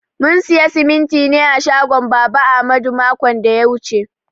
Mun siya simintin ne a shagon baba ahmadu makon da ya wuche.